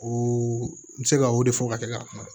O n bɛ se ka o de fɔ ka kɛ ka kuma